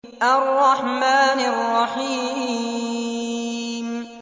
الرَّحْمَٰنِ الرَّحِيمِ